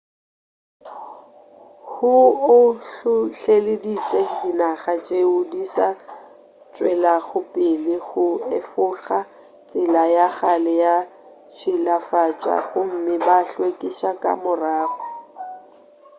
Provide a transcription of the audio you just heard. hu o hlohleleditše dinaga tšeo di sa tšwelago pele go efoga tsela ya kgale ya tšhilafatša gomme ba hlwekiša ka morago